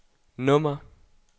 nummer